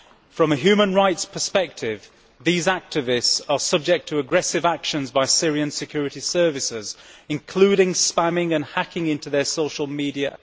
From a human rights perspective, these activists are subject to aggressive actions by Syrian security services, including spamming and hacking into their social media.